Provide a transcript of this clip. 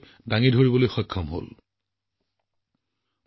এই সময়ছোৱাত সমাজ সেৱাৰ আচৰিত উদাহৰণো পৰিলক্ষিত হৈছে